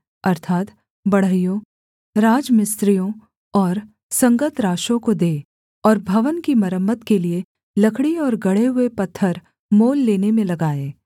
अर्थात् बढ़इयों राजमिस्त्रियों और संगतराशों को दें और भवन की मरम्मत के लिये लकड़ी और गढ़े हुए पत्थर मोल लेने में लगाएँ